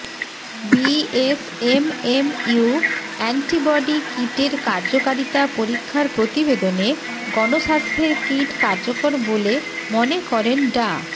BSMMU antibody কিটের কার্যকারিতা পরীক্ষার প্রতিবেদনে গণস্বাস্থ্যের কিট কার্যকর বলে মনে করেন ডা